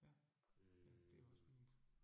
Ja. Ja, det også fint